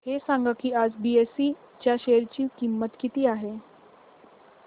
हे सांगा की आज बीएसई च्या शेअर ची किंमत किती आहे